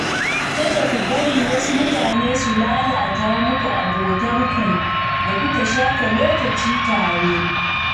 Kada ku bari wasu mutane su lalata muku abotarku da kuka shafe lokaci tare.